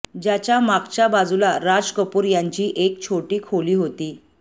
ज्याच्या मागच्या बाजूला राज कपूर यांची एक छोटी खोली होती